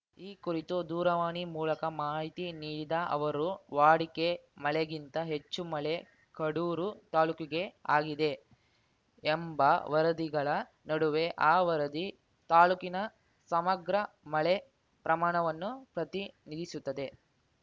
ಈ ಕುರಿತು ದೂರವಾಣಿ ಮೂಲಕ ಮಾಹಿತಿ ನೀಡಿದ ಅವರು ವಾಡಿಕೆ ಮಳೆಗಿಂತ ಹೆಚ್ಚು ಮಳೆ ಕಡೂರು ತಾಲೂಕಿಗೆ ಆಗಿದೆ ಎಂಬ ವರದಿಗಳ ನಡುವೆ ಅ ವರದಿ ತಾಲೂಕಿನ ಸಮಗ್ರ ಮಳೆ ಪ್ರಮಾಣವನ್ನು ಪ್ರತಿನಿಧಿಸುತ್ತದೆ